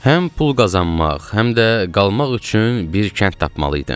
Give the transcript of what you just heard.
Həm pul qazanmaq, həm də qalmaq üçün bir kənd tapmalı idim.